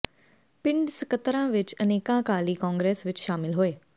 ਪਿੰਡ ਸਕੱਤਰਾਂ ਵਿਚ ਅਨੇਕਾਂ ਅਕਾਲੀ ਕਾਂਗਰਸ ਵਿਚ ਸ਼ਾਮਿਲ ਹੋਏ